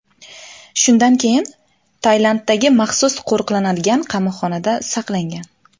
Shundan keyin Tailanddagi maxsus qo‘riqlanadigan qamoqxonada saqlangan.